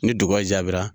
Ni dugu jaabira